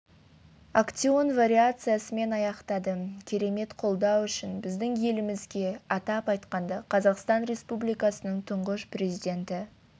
актеон вариациясымен аяқтадым керемет қолдау үшін біздің елімізге атап айтқанда қазақстан республикасының тұңғыш президенті